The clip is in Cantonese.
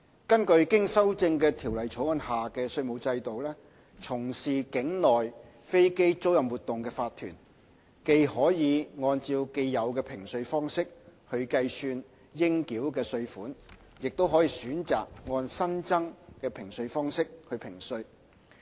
根據經修正的《條例草案》下的稅務制度，從事境內飛機租賃活動的法團，既可按既有的評稅方式計算其應繳稅款，亦可選擇按新增的評稅方式評稅。